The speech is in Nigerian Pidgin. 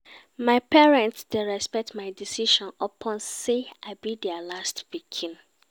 My parents dey respect my decisions upon sey I be their last pikin.